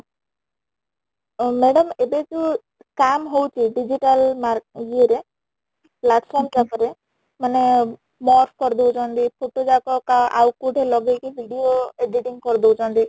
ଅ madam ଏବେ ଯୋଉ scam ହଉଚି digital ମାର ଇଏ ରେ platform ମାନେ merge କରି ଦଉଛନ୍ତି photo ଯାକ କା ଆଉ କୋଉଠି ଲଗେଇକି video editing କରି ଦଉଛନ୍ତି